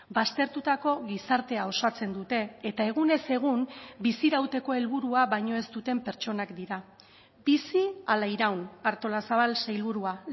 baztertutako gizartea osatzen dute eta egunez egun bizirauteko helburua baino ez duten pertsonak dira bizi ala iraun artolazabal sailburua